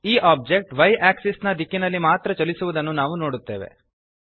ಈ object Y axis ನ ದಿಕ್ಕಿನಲ್ಲಿ ಮಾತ್ರ ಚಲಿಸುವದನ್ನು ನಾವು ನೋಡುತ್ತೇವೆ